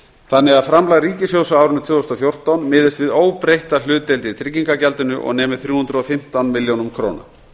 þannig að framlag ríkissjóðs á árinu tvö þúsund og fjórtán miðist við óbreytta hlutdeild í tryggingagjaldinu og nemi þrjú hundruð og fimmtán milljónum króna